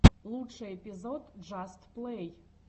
лучший эпизод джаст плэй